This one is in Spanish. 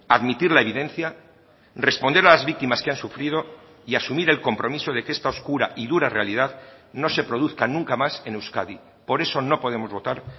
admitir la evidencia responder a las víctimas que han sufrido y asumir el compromiso de que esta oscura y dura realidad no se produzca nunca más en euskadi por eso no podemos votar